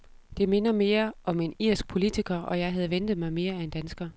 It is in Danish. Det minder mere om end irsk politiker, og jeg havde ventet mig mere af en dansker.